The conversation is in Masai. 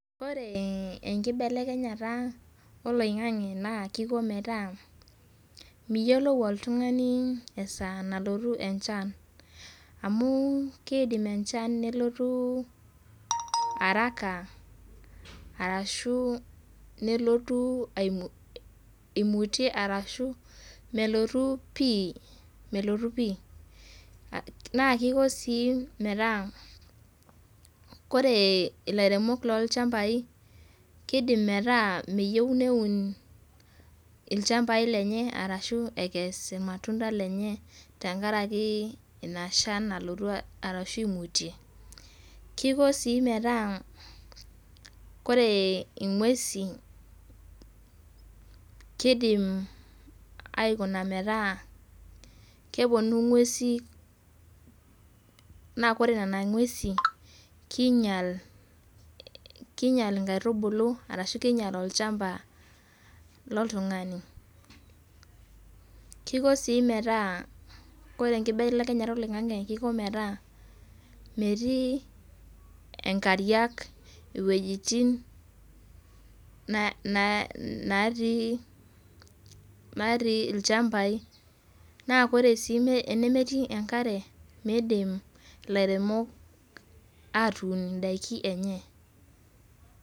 Ore enkibelekenyata oloing'ang'e naa kiko metaa miyiolou oltung'ani esa nalotu enchan. Amu kidim enchan nelotu araka, arashu nelotu imutie arashu melotu pi, melotu pi. Na kiko si metaa kore ilairemok lolchambai kidim metaa meyieu neun ilchambai lenye arashu ekes irmatunda lenye tenkaraki ina shan nalotu arashu imutie. Kiko si metaa kore ing'uesi kidim aikuna metaa keponu ing'uesi na kore nena ng'uesi, kinyal inkaitubulu arashu kinyal olchamba loltung'ani. Kiko si metaa kore enkibelekenyata oloing'ang'e kiko metaa metii inkariak iwuejiting natii ilchambai. Na kore si tenemetii enkare midim ilairemok atuun idaiki enye.